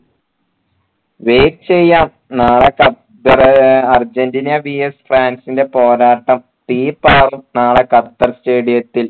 wait ചെയ്യാം നാളെ Qatar ഏർ അർജൻറീന VS ഫ്രാൻസിന്റെ പോരാട്ടം തീപാറും നാളെ ഖത്തർ stadium ത്തിൽ